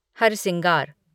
हरसिंगार